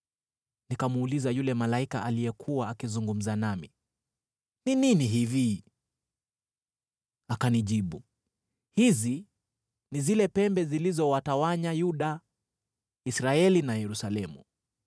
Nikamuuliza yule malaika aliyekuwa akizungumza nami, “Ni nini hivi?” Akanijibu, “Hizi ni zile pembe zilizowatawanya Yuda, Israeli na Yerusalemu.”